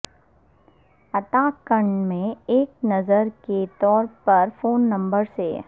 اتاہ کنڈ میں ایک نظر کے طور پر فون نمبر سے